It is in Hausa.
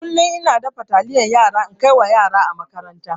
Kullun ina dafa taliyan yara na kaiwa yara a makaranta.